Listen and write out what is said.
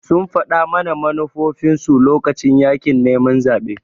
sun faɗa mana manufofinsu lokacin yaƙin neman zaɓe